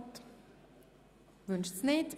– Das ist nicht der Fall.